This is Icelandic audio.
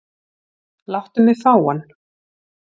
Láttu mig fá hann.